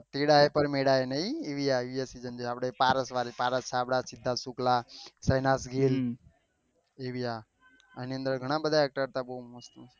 તેરા હે પર મેરા હે એ એવી આયી હતી પારસ વાડી પારસ આપડા પુતલા એના અંદર ઘણા બધા actress હતા